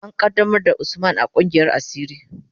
An qaddamar da Usman a kungiyar asiri.